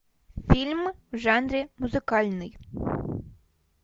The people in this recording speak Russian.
фильм в жанре музыкальный